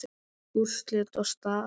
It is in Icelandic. Úrslit og staða